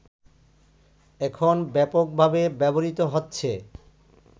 এখন ব্যাপকভাবে ব্যবহৃত হচ্ছে